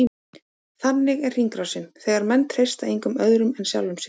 Þannig er hringrásin, þegar menn treysta engum öðrum en sjálfum sér.